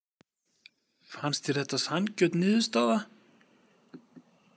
Fannst þér þetta sanngjörn niðurstaða?